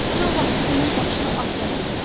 Uşaq vaxtı bunun başına at təpib.